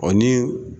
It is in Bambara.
O ni